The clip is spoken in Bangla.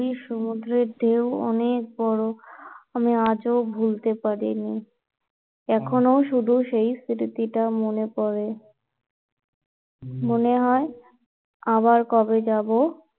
হম পুরীর সমুদ্রের ঢেউ অনেক বড় আমি আজ ও ভুলতে পারিনি এখনো শুধু সেই স্মৃতি টা মনে পড়ে মনে হয় আবার কবে যাবো